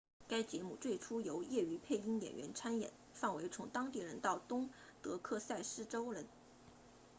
该节目最初由业余配音演员参演范围从当地人到东德克萨斯州人